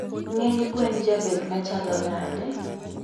Ngeny gwen jabed machalo nade?